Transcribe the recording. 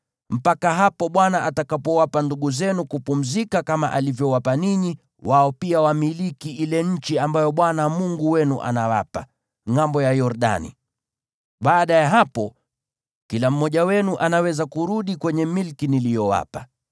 mpaka hapo Bwana atakapowapa ndugu zenu kupumzika kama alivyowapa ninyi, wao pia wamiliki ile nchi ambayo Bwana Mungu wenu anawapa, ngʼambo ya Yordani. Baada ya hapo, kila mmoja wenu anaweza kurudi kwenye milki niliyowapa.”